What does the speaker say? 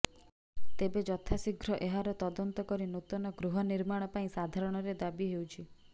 ତେବେ ଯଥାଶୀଘ୍ର ଏହାର ତଦନ୍ତ କରି ନୂତନ ଗୃହ ନିର୍ମାଣ ପାଇଁ ସାଧାରଣରେ ଦାବି ହେଉଛି